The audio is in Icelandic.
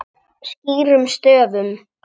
Skýrum stöfum.